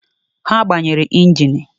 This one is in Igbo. He gbanyere engini